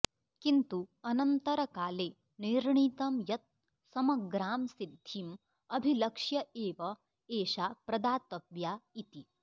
किन्तु अनन्तरकाले निर्णीतं यत् समग्रां सिद्धिम् अभिलक्ष्य एव एषा प्रदातव्या इति